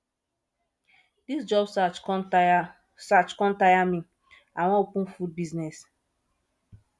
dis job search con tire search con tire me i wan open food business